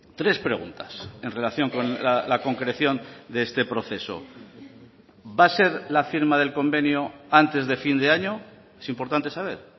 tres preguntas en relación con la concreción de este proceso va a ser la firma del convenio antes de fin de año es importante saber